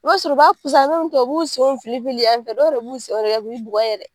I b'a sɔrɔ u b'a u b'u senw filifili yan fɛ dɔw yɛrɛ b'u sen kɛ k'i bugɔ yɛrɛ.